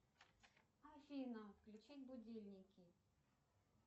афина включи будильники